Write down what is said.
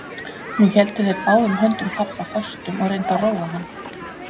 Nú héldu þeir báðum höndum pabba föstum og reyndu að róa hann.